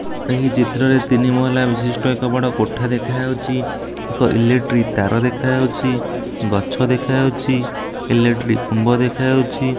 ଏହି ଚିତ୍ର ରେ ତିନି ମହଲା ବିଶିଷ୍ଟ ଏକ ବଡ଼ କୋଠା ଦେଖା ହେଉଚି ଏକ ଇଲେକ୍ଟ୍ରି ତାର ଦେଖାଉଛି ଗଛ ଦେଖା ଯାଉଚି ଇଲେକ୍ଟ୍ରୀ ଖମ୍ବ ଦେଖା ଯାଇଛି ।